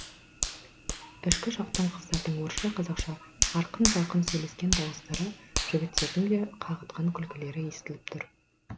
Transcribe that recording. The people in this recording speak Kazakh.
ішкі жақтан қыздардың орысша қазақша арқын жарқын сөйлескен дауыстары жігіттердің де қағытқан күлкілері естіліп тұр